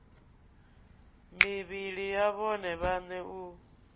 mivhili ya vhone vhaṋe u